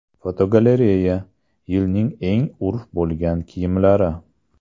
Fotogalereya: Yilning eng urf bo‘lgan kiyimlari.